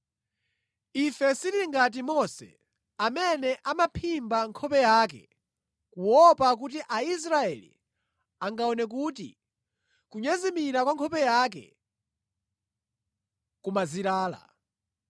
Ife sitili ngati Mose amene amaphimba nkhope yake kuopa kuti Aisraeli angaone kuti kunyezimira kwa nkhope yake kumazilala.